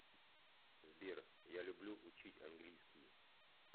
сбер я люблю учить английский